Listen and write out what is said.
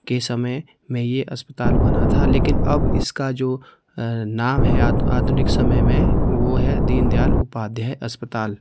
के समय में यह अस्पताल बना था लेकिन अब इसका जो नाम है आधुनिक समय में वह है दीनदयाल उपाध्याय अस्पताल --